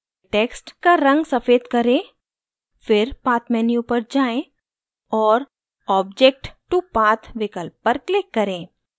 text का रंग सफ़ेद करें फिर path menu पर जाएँ और object to path विकल्प पर click करें